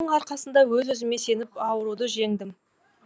атамның арқасында өз өзіме сеніп ауруды жеңдім